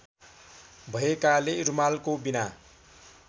भएकाले रुमालको बिना